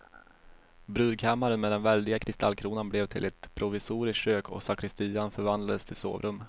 Brudkammaren med den väldiga kristallkronan blev till ett provisoriskt kök och sakristian förvandlades till sovrum.